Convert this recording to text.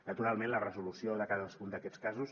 naturalment la resolució de cadascun d’aquests casos